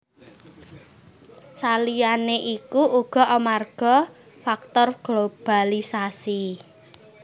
Saliyané iku uga amarga faktor globalisasi